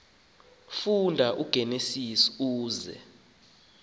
funda igenesis uze